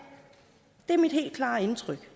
det er mit helt klare indtryk